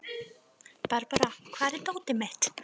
Barbára, hvar er dótið mitt?